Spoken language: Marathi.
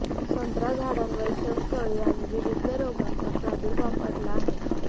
संत्रा झाडांवर शंखअळी आणि विविध रोगांचा प्रादुर्भाव पडला आहे